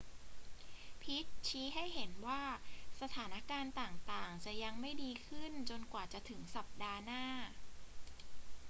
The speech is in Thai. พิตต์ชี้ให้เห็นว่าสถานการณ์ต่าง ๆ จะยังไม่ดีขึ้นจนกว่าจะถึงสัปดาห์หน้า